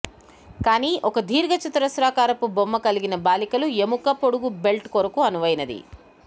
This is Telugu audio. కానీ ఒక దీర్ఘ చతురస్రాకారపు బొమ్మ కలిగిన బాలికలు ఎముక పొడుగు బెల్ట్ కొరకు అనువైనది